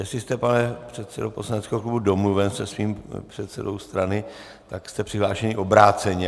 Jestli jste, pane předsedo poslaneckého klubu, domluven se svým předsedou strany, tak jste přihlášeni obráceně.